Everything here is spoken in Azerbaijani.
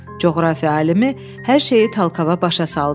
Coğrafiya alimi hər şeyi Talkava başa saldı.